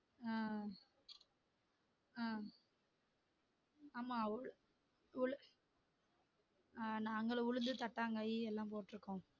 அஹ் அஹ் ஆமா உளு உளு நாங்களும் உளுந்து தட்டாங்காயி எல்லாம் போட்டுருக்கோம்